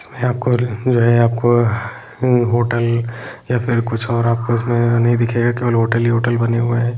जो है आपको जो है आपको होटल या फिर कुछ और आपको नहीं दिखेगा केवल होटल ही होटल बने हुए है।